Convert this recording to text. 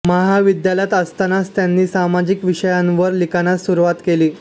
महाविद्यालयात असतानाच त्यांनी सामाजिक विषयांवर लिखाणास सुरुवात केली